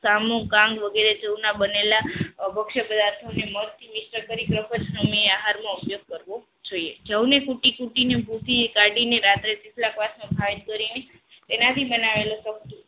કામો કામ વગર રહેલા બનેલા મા અપાચનો આહારમાં ઉપયોગ કરવો જોઈએ ખૂટીને કાઢીને રાત્રે પીપળા પાછળ તેનાથી બનાવેલો